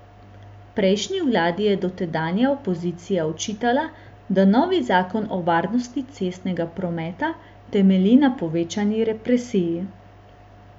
Prejšnji vladi je tedanja opozicija očitala, da novi zakon o varnosti cestnega prometa temelji na povečani represiji.